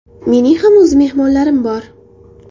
Mening ham o‘z mehmonlarim bor.